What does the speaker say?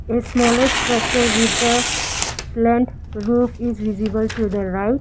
a smaller structure with a slant roof is visible to the right.